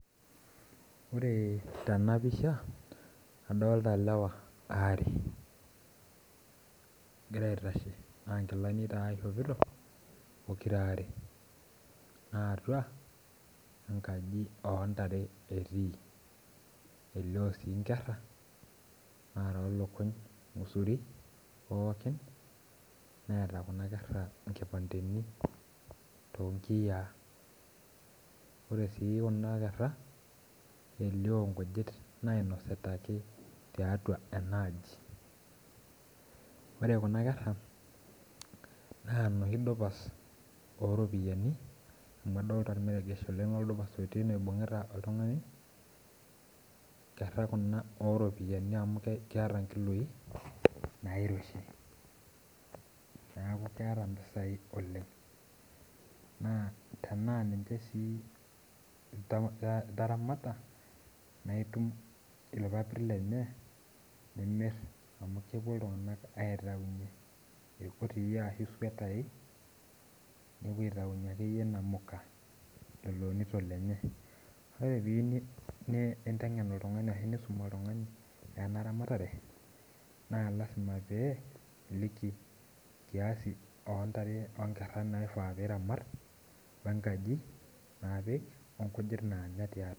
Ore tenapisha, adolta lewa aare. Egira aitashe na nkilani taa ishopito, pokirare. Na atua enkaji ontare etii. Elio si nkerra narok lukuny ng'usuri pookin, neeta kuna kerra nkipandeni tonkiyiaa. Ore si kuna kerra, elio nkujit nainosita ake tiatua enaaji. Ore kuna kerra, naa noshi dupas oropiyiani, amu adolta ormeregesh oleng lodupas otii ene oibung'ita oltung'ani, nkerra kuna oropiyiani amu keeta nkiloi, nairoshi. Neeku keeta mpisai oleng. Naa tenaa ninche si itaramata, na itum irpapit lenye, nimir amu kepuo iltung'anak aitaunye irgotii ashu isuetai, nepuo aitaunye akeyie namuka lelo onito lenye. Ore piyieu ninteng'en oltung'ani ashu nisum oltung'ani enaramatare, naa lasima pee iliki kiasi ontare onkerra naifaa piramat, wenkaji napik onkujit nanya tiatua.